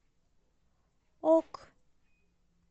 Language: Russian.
ок